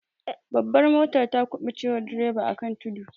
Babbar motar ta kubuce wa direba akan tudu.